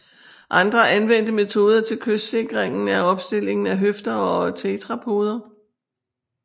Andre anvendte metoder til kystsikringen er opstillingen af høfder og tetrapoder